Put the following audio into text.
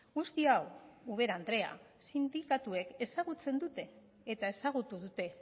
guzti hau ubera andrea sindikatuek ezagutzen dute eta ezagutu dute